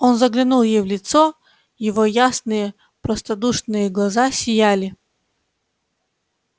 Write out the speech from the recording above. он заглянул ей в лицо его ясные простодушные глаза сияли